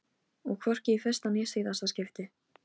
Og hvorki í fyrsta né síðasta skipti.